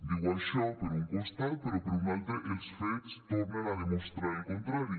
diu això per un costat però per un altre els fets tornen a demostrar el contrari